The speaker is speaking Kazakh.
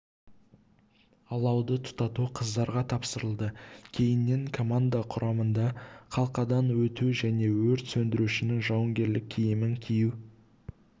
алауды тұтату қыздарға тапсырылды кейіннен команда құрамында қалқадан өту және өрт сөндірушінің жауынгерлік киімін кию